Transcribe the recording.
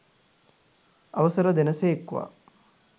අවසර දෙන සේක්වා!